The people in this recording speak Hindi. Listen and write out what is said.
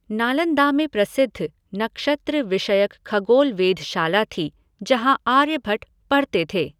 नालन्दा में प्रसिद्ध नक्षत्र विषयक खगोल वेधशाला थी जहां आर्यभट्ट पढ़ते थे।